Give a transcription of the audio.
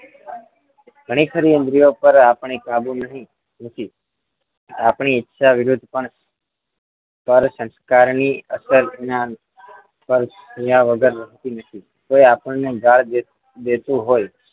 ઘણી ખરી ઇન્દ્રિયો પર આપણે કાબુ નહીં નથી આપણે ઈચ્છા વિરુદ્ધ પણ સંસ્કારની તત્વજ્ઞાન કોઈ આપણને ગાળ દેતું હોય